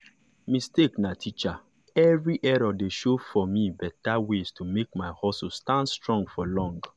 mistakes na teacher! every error dey show me better way to make my hustle stand strong for long.